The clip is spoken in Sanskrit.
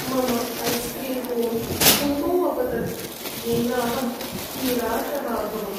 मम ऐस्क्रीम् कोन् भूमौ अपतत् येनाहं निराशः अभवम्।